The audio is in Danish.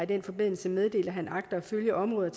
den forbindelse meddelt at han agter at følge området